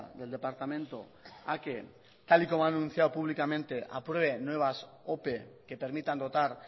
del departamento a que tal y como han anunciado públicamente apruebe nuevas ope que permitan dotar